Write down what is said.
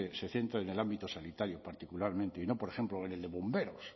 se centra en el ámbito sanitario particularmente y no por ejemplo en el de bomberos